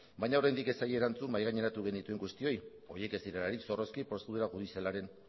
baina oraindik ez zaie erantzun mahaigaineratu genituen guztioi horiek ez direlarik zorrozki prozedura judizialan